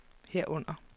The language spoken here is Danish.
herunder